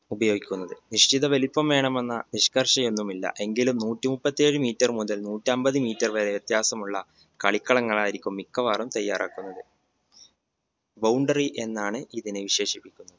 ഉപയോഗിക്കുന്നത്. നിശ്ചിത വലിപ്പം വേണമെന്ന നിഷ്കർഷ ഒന്നുമില്ല എങ്കിലും നൂറ്റി മുപ്പത്തിയേഴു meter മുതൽ നൂറ്റമ്പത് meter വരെ വ്യത്യാസമുള്ള കളിക്കളങ്ങളായിരിക്കും മിക്കവാറും തയ്യാറാക്കുന്നത് boundary എന്നാണ് ഇതിനെ വിശേഷിപ്പിക്കുന്നത്